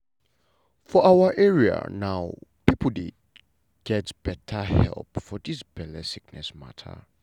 for awa area now pipo dey get beta help for dis belle sickness mata.